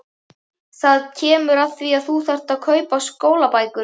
Það kemur að því að þú þarft að kaupa skólabækur.